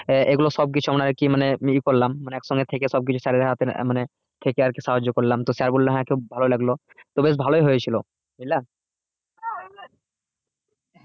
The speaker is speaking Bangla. আহ এগুলো সব কিছু আমাদের কেই মানে করলাম মানে এক সঙ্গে থেকে sir দের হাতে মানে থাকে আরকি সাহায্য করলাম তো sir বললো হ্যাঁ খুব ভালো লাগলো তো বেশ ভালোই হয়ে ছিল বুঝলে?